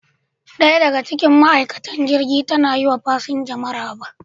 Daya daga cikin ma'aikatan jirgin ta na yi wa fasinja maraba.